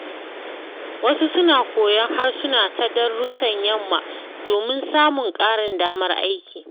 Wasu suna koyon harsuna ta darussan yamma domin samun ƙarin damar aiki.